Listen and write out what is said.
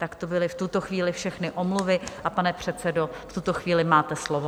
Tak to byly v tuto chvíli všechny omluvy, a pane předsedo, v tuto chvíli máte slovo.